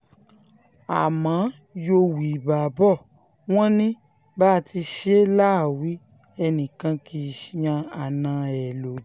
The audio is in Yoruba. àmọ́ yòówbà bò wọ́n ní bá a ti ṣe là á wí ẹnìkan kì í yan àna ẹ̀ lódì